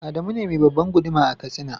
Adamu ne me babban guduma a katsina.